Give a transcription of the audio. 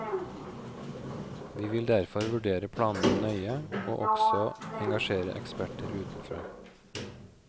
Vi vil derfor vurdere planene nøye, og også engasjere eksperter utenfra.